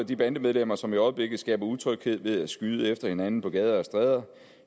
de bandemedlemmer som i øjeblikket skaber utryghed ved at skyde efter hinanden på gader og stræder